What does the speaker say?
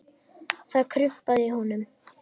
Það kumraði í honum.